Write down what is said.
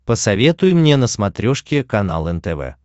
посоветуй мне на смотрешке канал нтв